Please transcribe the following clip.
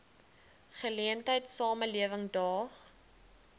geleentheid samelewing daag